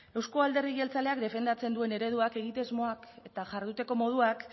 euzko alderdi jeltzaleak defendatzen duen ereduak egitasmoak eta jarduteko moduak